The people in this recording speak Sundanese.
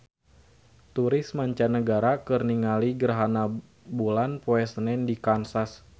Turis mancanagara keur ningali gerhana bulan poe Senen di Kansas